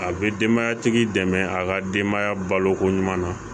A bɛ denbaya tigi dɛmɛ a ka denbaya balo koɲuman na